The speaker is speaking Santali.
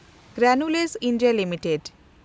granules India limited